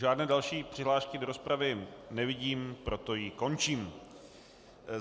Žádné další přihlášky do rozpravy nevidím, proto ji končím.